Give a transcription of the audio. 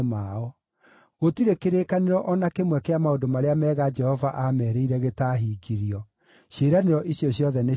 Gũtirĩ kĩrĩkanĩro o na kĩmwe kĩa maũndũ marĩa mega Jehova aameerĩire gĩtaahingirio; ciĩranĩro icio ciothe nĩciahingirio.